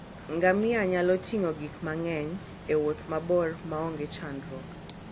Ngamia nyalo ting'o gik mang'eny e wuoth mabor maonge chandruok.